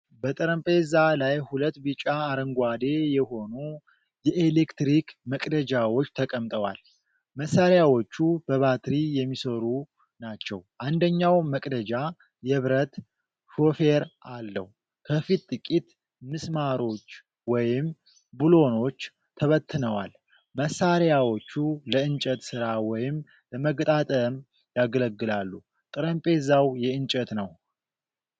በጠረጴዛ ላይ ሁለት ቢጫ አረንጓዴ የሆኑ የኤሌክትሪክ መቅደጃዎች ተቀምጠዋል። መሳሪያዎቹ በባትሪ የሚሠሩ ናቸው። አንደኛው መቅደጃ የብረት ሾፌር አለው። ከፊት ጥቂት ምስማሮች ወይም ብሎኖች ተበትነዋል። መሣሪያዎቹ ለእንጨት ሥራ ወይም ለመገጣጠም ያገለግላሉ። ጠረጴዛው የእንጨት ነው።